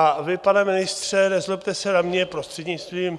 A vy, pane ministře, nezlobte se na mě, prostřednictvím